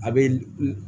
A bɛ